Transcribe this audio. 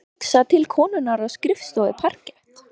Honum varð hugsað til konunnar á skrifstofu parkett